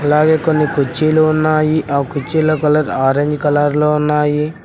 అలాగే కొన్ని కుర్చీలు ఉన్నాయి ఆ కుర్చీల కలర్ ఆరెంజ్ కలర్ లో ఉన్నాయి.